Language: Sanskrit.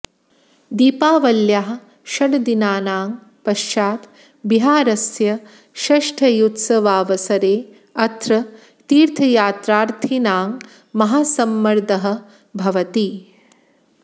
दीपावल्याः षड्दिनानां पश्चात् बिहारस्य षष्ठ्युत्सवावसरे अत्र तीर्थयात्रार्थीनां महासम्मर्दः भवति